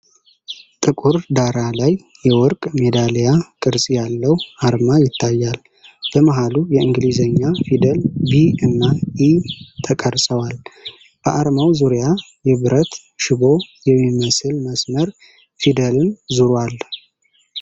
ጥቁር ዳራ ላይ የወርቅ ሜዳሊያ ቅርፅ ያለው አርማ ይታያል። በመሃሉ የእንግሊዝኛ ፊደላት 'ቢ' እና 'እ' ተቀርፀዋል። በአርማው ዙሪያ የብረት ሽቦ የሚመስል መስመር ፊደልን ዞሯል።